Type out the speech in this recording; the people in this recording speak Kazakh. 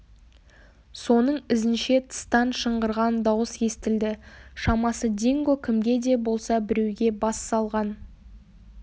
соның ізінше тыстан шыңғырған дауыс естілді шамасы динго кімге де болса біреуге бас салған